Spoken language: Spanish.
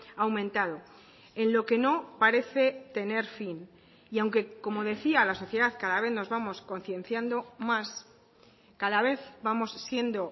ha aumentado en lo que no parece tener fin y aunque como decía la sociedad cada vez nos vamos concienciando más cada vez vamos siendo